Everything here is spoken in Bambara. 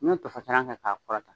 Ni ye tofasalan kɛ ka kɔrɔta.